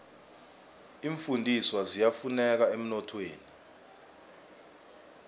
iimfundiswa ziyafuneka emnothweni